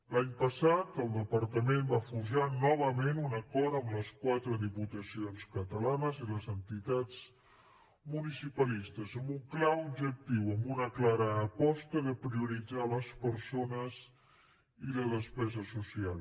l’any passat el departament va forjar novament un acord amb les quatre diputacions catalanes i les entitats municipalistes amb un clar objectiu amb una clara aposta de prioritzar les persones i la despesa social